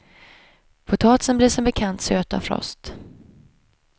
Potatis blir som bekant söt av frost.